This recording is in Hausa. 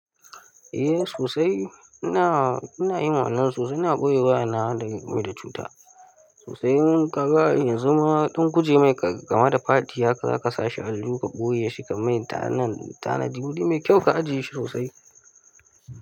Eh sosai. Ina, ina yin wannan sosai, ina ɓoye wayana daga mai da cuta. Sosai. Kaga ma yan zuma ɗan kujemai kamar da Fati haka, za ka sa shi ajihu ka ɓoye shi ka mai. Tanadi wuri mai kyau ka ajiye shi sosai.